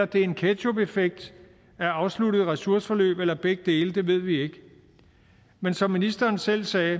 det er en ketchupeffekt af afsluttede ressourceforløb eller begge dele ved vi ikke men som ministeren selv sagde